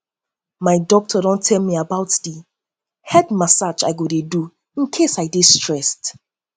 my doctor don tell me about the head massage i go dey do in case i dey stressed